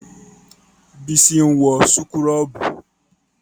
Bísí ń wọ súkúrọ́bù